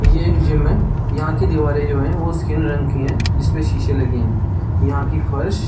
ये एक जिम है यहाँ कि दीवारे जो है वो स्किन रंग की है जिसपे शीशे लगे है यहाँ कि फर्श --